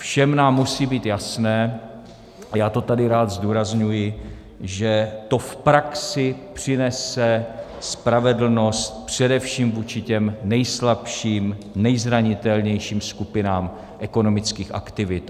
Všem nám musí být jasné, a já to tady rád zdůrazňuji, že to v praxi přinese spravedlnost především vůči těm nejslabším, nejzranitelnějším skupinám ekonomických aktivit.